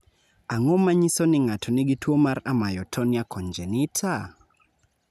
Ang�o ma nyiso ni ng�ato nigi tuo mar Amyotonia congenita?